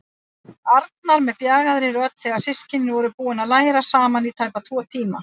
Arnar með bjagaðri rödd þegar systkinin voru búin að læra saman í tæpa tvo tíma.